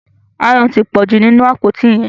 Aáyán tí pọju nínú àpótí yén.